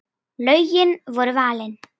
Lögin voru valin.